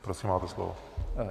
Prosím, máte slovo.